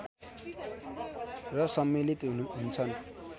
र सम्मिलित हुन्छन्